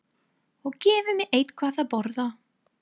Og gefi mér eitthvað að borða.